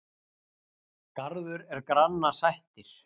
Garður er granna sættir.